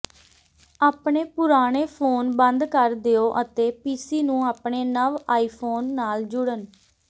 ਆਪਣੇ ਪੁਰਾਣੇ ਫ਼ੋਨ ਬੰਦ ਕਰ ਦਿਓ ਅਤੇ ਪੀਸੀ ਨੂੰ ਆਪਣੇ ਨਵ ਆਈਫੋਨ ਨਾਲ ਜੁੜਨ